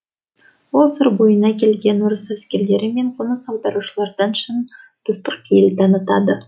ол сыр бойына келген орыс әскерлері мен қоныс аударушылардан шын достық пейіл танытады